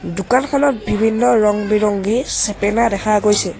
দোকানখনত বিভিন্ন ৰং বিৰংগী চেপেনা দেখা গৈছে।